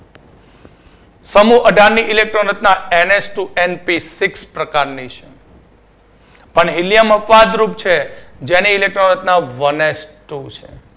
સમુહ અઢારની electron રચના ns two np six પ્રકારની છે પણ helium અપવાદ રૂપ છે જેની electron રચના one S two છે.